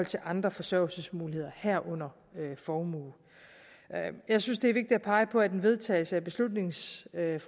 til andre forsørgelsesmuligheder herunder formue jeg synes det er vigtigt at pege på at en vedtagelse af beslutningsforslaget